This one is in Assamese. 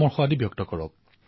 মই নিশ্চয় সেয়া অধ্যয়ন কৰিম